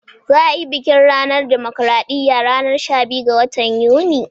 Za'a yi bikin ranar dimokuradiyya ranar shabiyu ga watan yuni.